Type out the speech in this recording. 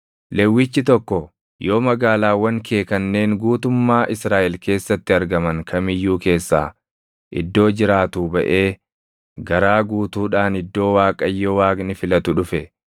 Lewwichi tokko yoo magaalaawwan kee kanneen guutummaa Israaʼel keessatti argaman kam iyyuu keessaa iddoo jiraatuu baʼee garaa guutuudhaan iddoo Waaqayyo Waaqni filatu dhufe,